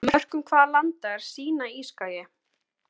Á mörkum hvaða landa er Sínaískagi?